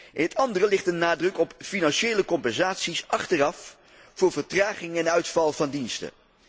In het andere ligt de nadruk op financiële compensaties achteraf voor vertraging en uitval van diensten.